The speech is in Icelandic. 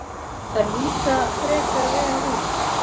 Þær líta frekar vel út.